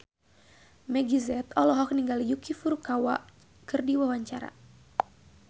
Meggie Z olohok ningali Yuki Furukawa keur diwawancara